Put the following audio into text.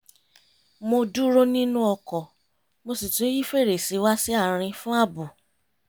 mo dúró nínú ọkọ̀ mo sì tún yí fèrèsé wá sí àárín fún ààbò